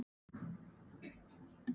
Var hún ekki ein?